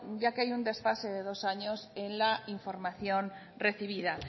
ya que hay un desfase de dos años en la información recibida